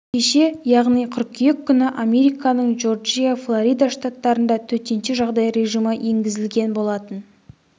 кеше яғни қыркүйек күні американың джорджия флорида штаттарында төтенше жағдай режимі енгізілген болатын